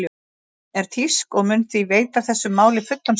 Hún er þýsk og mun því veita þessu máli fullan stuðning.